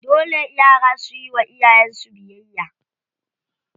Dole yara suyi wa iyayen su biyayya.